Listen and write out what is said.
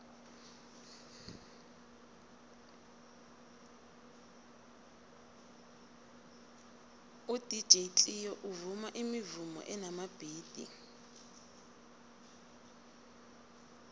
udj cleo uvuma imivumo enamabhithi